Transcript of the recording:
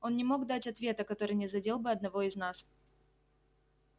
он не мог дать ответа который не задел бы одного из нас